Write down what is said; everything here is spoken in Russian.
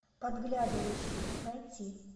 подглядывающий найти